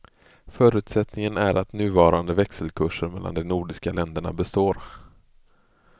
Förutsättningen är att nuvarande växelkurser mellan de nordiska länderna består.